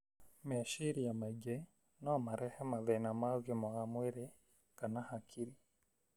Meciria maingĩ no marehe mathĩna ma ũgima wa mwĩrĩ kana hakirĩ.